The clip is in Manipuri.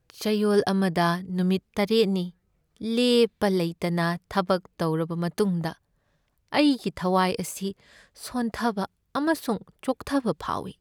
ꯆꯌꯣꯜ ꯑꯃꯗ ꯅꯨꯃꯤꯠ ꯇꯔꯦꯠꯅꯤ ꯂꯦꯞꯄ ꯂꯩꯇꯅ ꯊꯕꯛ ꯇꯧꯔꯕ ꯃꯇꯨꯡꯗ ꯑꯩꯒꯤ ꯊꯋꯥꯏ ꯑꯁꯤ ꯁꯣꯟꯊꯕ ꯑꯃꯁꯨꯡ ꯆꯣꯛꯊꯕ ꯐꯥꯎꯏ꯫